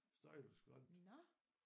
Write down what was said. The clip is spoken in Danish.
Stejleste skrænt